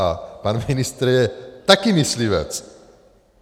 A pan ministr je také myslivec!